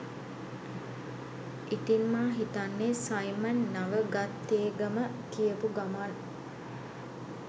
ඉතින් මා හිතන්නේ සයිමන් නවගත්තේගම කියපු ගමන්